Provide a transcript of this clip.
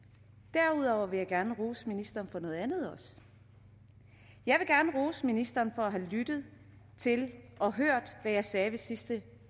derudover vil jeg også gerne rose ministeren for noget andet jeg vil gerne rose ministeren for at have lyttet til og hørt hvad jeg sagde ved sidste